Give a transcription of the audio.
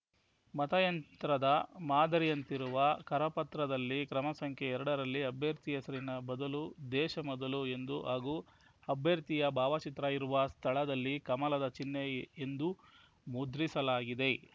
ಮತಯಂತ್ರದ ಮಾದರಿಯಂತಿರುವ ಕರಪತ್ರದಲ್ಲಿ ಕ್ರಮಸಂಖ್ಯೆ ಎರಡರಲ್ಲಿ ಅಭ್ಯರ್ಥಿಯ ಹೆಸರಿನ ಬದಲು ದೇಶ ಮೊದಲು ಎಂದು ಹಾಗೂ ಅಭ್ಯರ್ಥಿಯ ಭಾವಚಿತ್ರ ಇರುವ ಸ್ಥಳದಲ್ಲಿ ಕಮಲದ ಚಿಹ್ನೆ ಎಂದು ಮುದ್ರಿಸಲಾಗಿದೆ